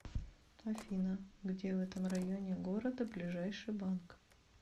афина где в этом районе города ближайший банк